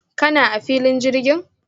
kana a filin jirgin?